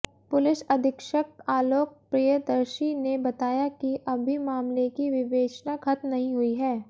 police अधीक्षक आलोक प्रियदर्शी ने बताया कि अभी मामले की विवेचना खत्म नहीं हुई है